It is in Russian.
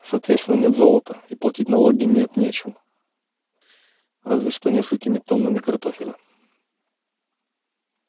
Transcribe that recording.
соответственно нет золота и платить налоги нет нечем разве что несколькими тоннами картофеля